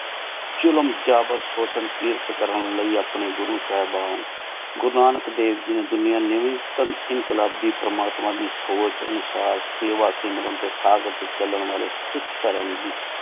ਜ਼ੁਲਮ ਜਾਬਿਰ ਸੋਕਿਆਲ ਕਿਰਤ ਕਰਨ ਲੈ ਅਪਨੀ ਗੁਰੂ ਸਾਹੇਬਨ ਗੁਰੂ ਨਾਨਕ ਦੇਵ ਜਿਨੀ ਦੁਨਿਯਾ ਇੰਕ਼ਲਾਬੀ ਪਰਮਾਤਮਾ ਦੀ ਸੋਚ ਅਨੁਸਾਰ ਸੇ ਵਾਸੀ ਮਾਰਨ ਖਾਗਰ ਟੀ ਚਲਣ ਵਾਲੀ ਸਿਖ ਧਰਮ ਦੀ